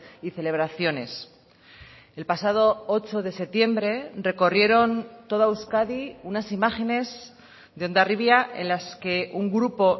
y celebraciones el pasado ocho de septiembre recorrieron toda euskadi unas imágenes de hondarribia en las que un grupo